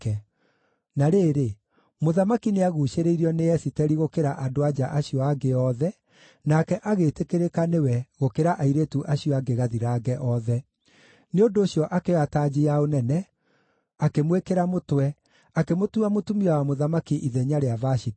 Na rĩrĩ, mũthamaki nĩaguucĩrĩirio nĩ Esiteri gũkĩra andũ-a-nja acio angĩ othe, nake agĩĩtĩkĩrĩka nĩwe gũkĩra airĩtu acio angĩ gathirange othe. Nĩ ũndũ ũcio akĩoya tanji ya ũnene, akĩmwĩkĩra mũtwe, akĩmũtua mũtumia wa mũthamaki ithenya rĩa Vashiti.